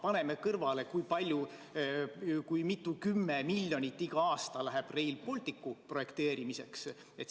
Paneme siia kõrvale, kui palju, kui mitu kümmet miljonit iga aasta läheb Rail Balticu projekteerimiseks!